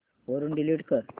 वरून डिलीट कर